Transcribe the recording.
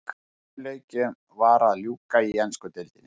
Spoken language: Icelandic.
Sjö leikjum var að ljúka í ensku deildinni.